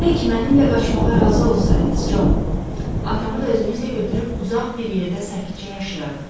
Tək mənimlə qaçmağa razı olsaydınız, Con, atamı da özümüzlə götürüb uzaq bir yerdə sakitcə yaşayardıq.